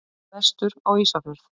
Vestur á Ísafjörð.